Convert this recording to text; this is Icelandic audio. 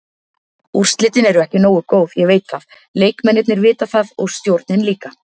Úrslitin eru ekki nógu góð, ég veit það, leikmennirnir vita það og stjórnin líka.